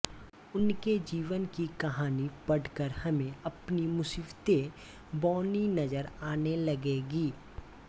उनके जीवन की कहानी पढ़ कर हमें अपनी मुसीबतें बौनी नजर आने लगेंगी